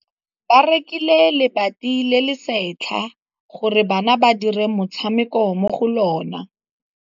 Ba rekile lebati le le setlha gore bana ba dire motshameko mo go lona.